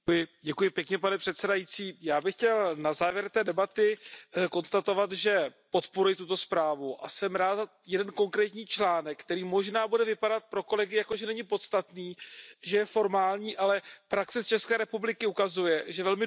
Pane předsedající, já bych chtěl na závěr té debaty konstatovat, že podporuji tuto zprávu a jsem rád za jeden konkrétní článek, který možná bude vypadat pro kolegy, jako že není podstatný, že je formální, ale praxe z České republiky ukazuje, že je velmi důležitý.